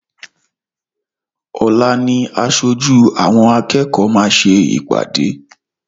Ọ̀la ni aṣojú àwọn akẹ́kọ̀ọ́ máa ṣe ìpàdé.